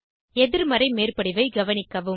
எதிர்மறை மேற்படிவை கவனிக்கவும்